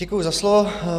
Děkuji za slovo.